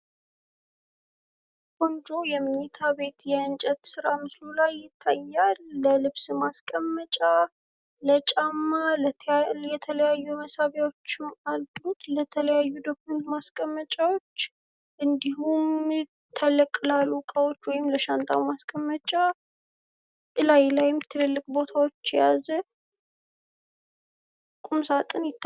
ቆንጆ የመኝታ ቤት፥ የእንጨት ስራ በምስሉ ላይ ይታያል። ልብስ ማስቀመጫ ለጫማ የተለያዩ መሳቢያዎች ያሉት፤ የተለያዩ ዶክመንት ማስቀመጫዎች እንዲሁም ትልልቅ ላሉ ዕቃዎች ወይም ለሻንጣ ለሻንጣ ማስቀመጫ እላዩ ላይ ብዙ እቃዎችን የያዘ ቁምሳጥን ነው።